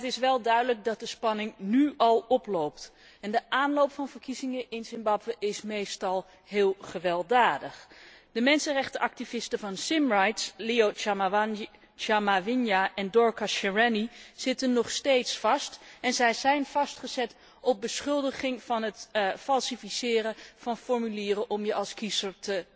Maar het is wel duidelijk dat de spanning nu al oploopt en de aanloop van verkiezingen in Zimbabwe is meestal wel heel gewelddadig. De mensenrechtenactivisten van Zimrights, Leo Chamahwinya en Dorcas Shereni, zitten nog steeds vast en zij zijn vastgezet op beschuldiging van het vervalsen van formulieren om je als kiezer